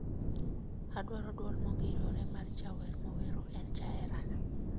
Adwaro duol mongirore mar jawer mowero en jaherana